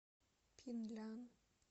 пинлян